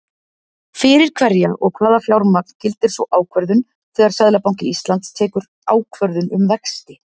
Fyrir hverja og hvaða fjármagn gildir sú ákvörðun, þegar Seðlabanki Íslands tekur ákvörðun um vexti?